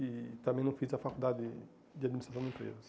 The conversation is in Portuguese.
E também não fiz a faculdade de Administração de Empresas.